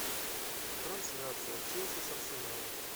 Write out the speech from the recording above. трансляция челси с арсеналом